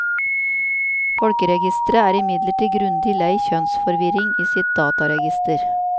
Folkeregisteret er imidlertid grundig lei kjønnsforvirring i sitt dataregister.